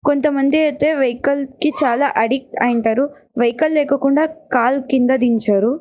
కొంత మంది వెహికల్ కి చాలా అడిక్ట్ అయింతరు వెహికల లేకాకుండా కాలు కింద దించారు.